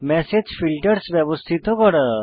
message filters ব্যবস্থিত করা